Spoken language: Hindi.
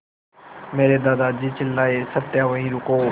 मेरे दादाजी चिल्लाए सत्या वहीं रुको